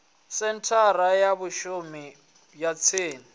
senthara ya vhashumi ya tsini